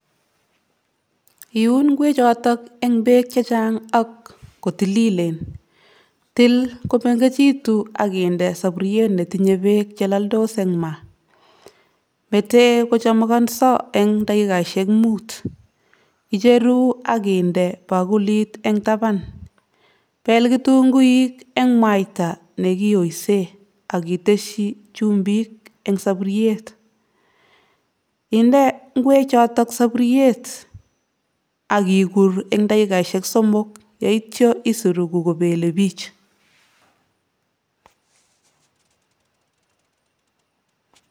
Kichopto ono koroi en gaa?